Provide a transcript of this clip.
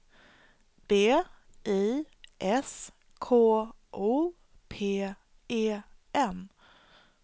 B I S K O P E N